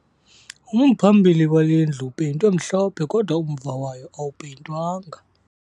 Umphambili wale ndlu upeyintwe mhlophe kodwa umva wayo awupeyintwanga